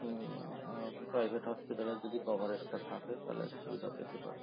হম ah private hospital এ যদি coverage টা থাকে তাহলে সুবিধা পেতে পারে